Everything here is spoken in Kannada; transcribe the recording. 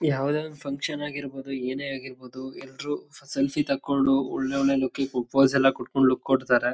ಏನೇನೋ ಪೂಜೆಗಳನ್ನ ಮಾಡ್ತಾರೆ ಛಟ್ ಪೂಜಾ ಅಂತಂದು .